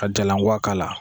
Ka jalankua k'a la.